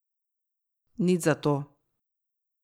Nič za to.